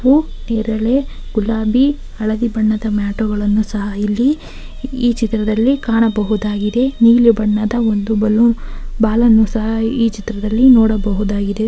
ಕಪ್ಪು ನೇರಳೆ ಗುಲಾಬಿ ಹಳದಿ ಬಣ್ಣದ ಮ್ಯಾಟುಗಳ್ಳನ್ನ ಸಹ ಇಲ್ಲಿ ಈ ಚಿತ್ರದಲ್ಲಿ ಕಾಣಬಹುದಾಗಿದೆ ನೀಲಿ ಬಣ್ಣದ ಒಂದು ಬಲೂನ್ ಬಾಲನ್ನು ಸಹ ಇಲ್ಲಿ ನೋಡಬಹುದು.